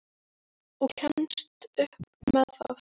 Og kemst upp með það!